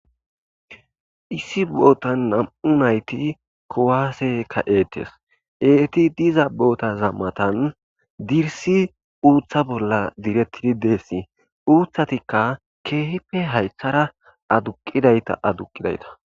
Isi botan nam'u nayti kuwase ka'etes eti diza botaza matan isi uta bolan diyaysi utatika kehipe haytara aduqidayta aduqidayta.